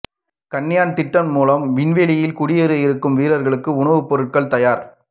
ககன்யான் திட்டம் மூலம் விண்வெளியில் குடியேற இருக்கும் வீரர்களுக்கு உணவு பொருட்கள் தயார்